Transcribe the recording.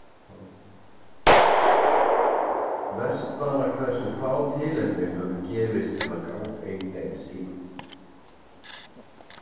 Verst bara hversu fá tilefni höfðu gefist til að ganga í þeim síðan.